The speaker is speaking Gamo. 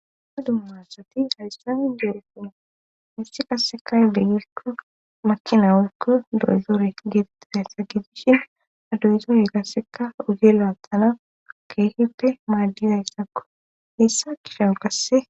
Ha dummaassati hayssa ni deyerofuna hissi qasseka yleggikko makinaawaykko dozore geetettidayssa gidishin adoyizimo yegasseka oge la habtana keefippe maaddizayssakko hessa a kishawu gasse.